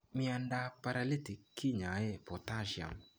Miondap ap paralytic kinyae potassium